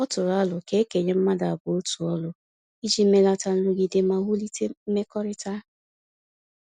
Ọ tụrụ arọ ka ekenye mmadụ abụọ otu ọrụ, iji melata nrụgide ma wulite mmekọrịta